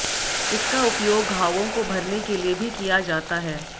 इसका उपयोग घावों को भरने के लिए भी किया जाता है